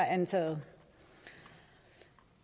antaget